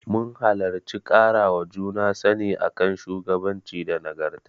Mun halarci ƙarawa juna sani a kan shugabanci da nagarta.